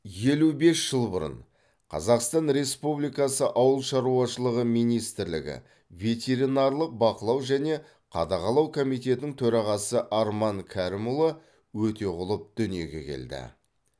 елу бес жыл бұрын қазақстан республикасы ауыл шаруашылығы министрлігі ветеринарлық бақылау және қадағалау комитетінің төрағасы арман кәрімұлы өтеғұлов дүниеге келді